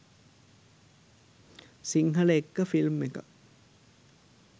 සිංහලඑක්ක film එකක්